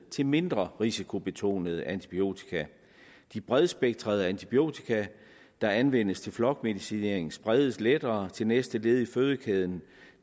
til mindre risikobetonede antibiotika de bredspektrede antibiotika der anvendes til flokmedicinering spredes lettere til næste led i fødekæden